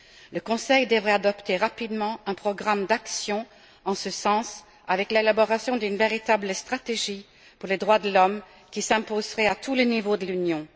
Le Conseil devrait adopter rapidement un programme d'action en ce sens, avec l'élaboration d'une véritable stratégie pour les droits de l'homme, qui s'imposerait à tous les niveaux de l'Union.